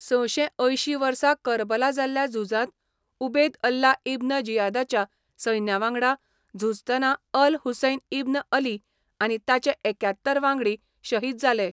सशें अयशीं वर्सा करबला जाल्ल्या झुजांत उबेद अल्ला इब्न जियादाच्या सैन्यावांगडा झुजतना अल हुसैन इब्न अली आनी ताचे एक्यात्तर वांगडी शहीद जाले.